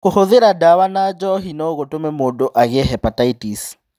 Kũhũthĩra ndawa na njohi no gũtũme mũndũ agĩe hepatitis.